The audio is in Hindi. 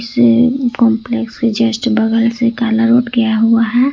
कॉम्प्लेक्स के जस्ट बगल से काला रोड गया हुआ है।